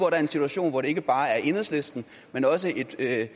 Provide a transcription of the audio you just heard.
er en situation hvor det ikke bare er enhedslisten men også en del af